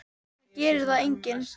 Það gerir það enginn.